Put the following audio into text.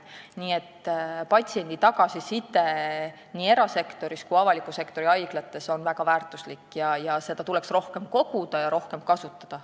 Nii et patsiendi tagasiside nii erasektoris kui avaliku sektori haiglates on väga väärtuslik – seda infot tuleks rohkem koguda ja rohkem kasutada.